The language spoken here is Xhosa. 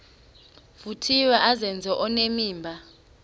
vuthiwe azenze onenimba